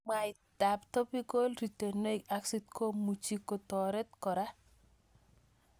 Mwaitab Topical retinoic acid komuchi kotoret kora